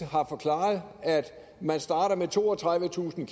har forklaret at man starter med toogtredivetusind